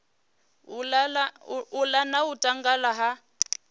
ola na u tanganya ha